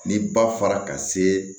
Ni ba fara ka se